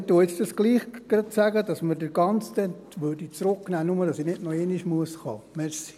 Aber ich sage trotzdem gerade, dass man gerade das Ganze zurücknehmen würde, einfach damit ich nicht noch einmal kommen muss.